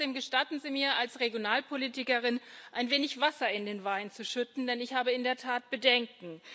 Trotzdem Gestatten Sie mir als Regionalpolitikerin, ein wenig Wasser in den Wein zu schütten, denn ich habe in der Tat Bedenken.